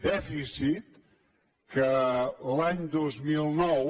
dèficit que l’any dos mil nou